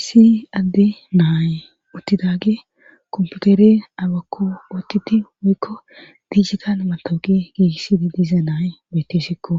isi adde naaye uttidaage komputere abakko oottidi woykko digital matawuqe giissidi diiza naaye betesikko